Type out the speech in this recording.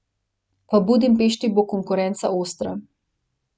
V Budimpešti bo konkurenca ostra.